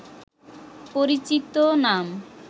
পরিচিত নাম